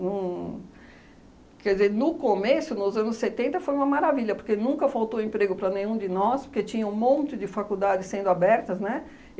Uhn quer dizer, no começo, nos anos setenta, foi uma maravilha, porque nunca faltou emprego para nenhum de nós, porque tinha um monte de faculdade sendo abertas, né?